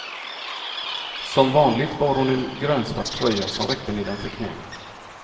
Som vanligt bar hon en grönsvart tröja som räckte nedanför knäna.